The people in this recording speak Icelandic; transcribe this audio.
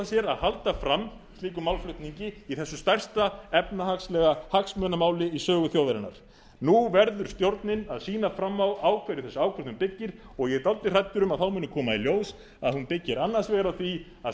sér að halda fram slíkum málflutningi í þessu stærsta efnahagslega hagsmunamáli þjóðarinnar nú verður stjórnin að sýna fram á á hverju þessi ákvörðun byggir og ég er dálítið hræddur um að þá muni koma í ljós að hún byggir annars vegar á því að